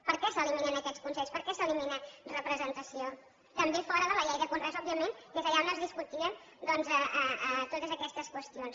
per què s’eliminen aquests consells per què s’elimina representació també fora de la llei de conreus òbviament que és allà on es discutien doncs totes aquestes qüestions